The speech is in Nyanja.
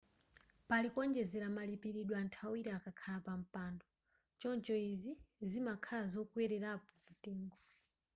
pali kuonjezera malipilidwe anthu awili akakhala pa mpando choncho izi zimakhala zokwelerapo mtengo